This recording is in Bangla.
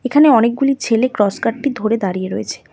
এখানে অনেকগুলি ছেলে ক্রস কাঠটি ধরে দাঁড়িয়ে রয়েছে।